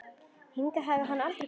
Hingað hafi hann aldrei komið.